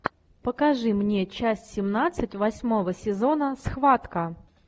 покажи мне часть семнадцать восьмого сезона схватка